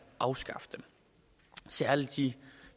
afskaffe dem særlig de